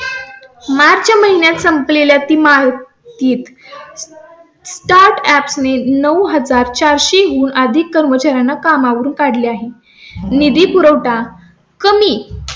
मार्च महिन्यात संप लेल्या तिमाहीत वस्तीत . startup ने नऊ हजार चार सो हून अधिक कर्मचाऱ्यांना कामावरून काढले आहे. निधी पुरवठा कमी.